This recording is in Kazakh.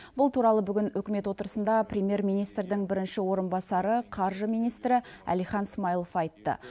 бұл туралы бүгін үкімет отырысында премьер министрдің бірінші орынбасары қаржы министрі әлихан смайылов айтты